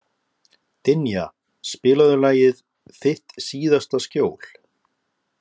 Dynja, spilaðu lagið „Þitt síðasta skjól“.